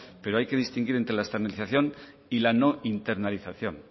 pero hay que distinguir entre la externalización y la no internalización